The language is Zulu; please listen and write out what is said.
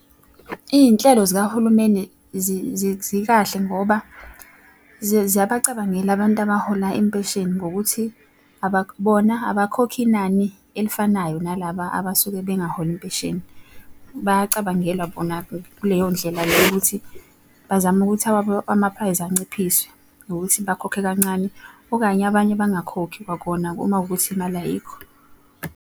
Iy'nhlelo zikahulumeni zikahle ngoba ziyabacabangela abantu abahola impesheni ngokuthi bona abakhokhi inani elifanayo nalaba abasuke bengaholi impesheni. Bayacabangelwa bona kuleyo ndlela leyo ukuthi bazame ukuthi awabo ama-price anciphiswe ngokuthi bakhokhe kancane. Okanye abanye bangakhokhi kwakona uma kuwukuthi imali ayikho.